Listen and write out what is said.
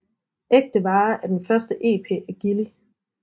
Ækte Vare er den første EP af Gilli